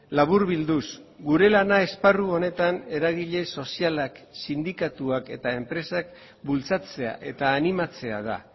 laburbilduz gure lana esparru honetan eragile sozialak sindikatuak eta enpresak bultzatzea eta animatzea da